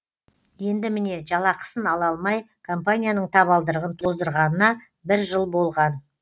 енді міне жалақысын ала алмай компанияның табалдырығын тоздырғанына бір жыл болған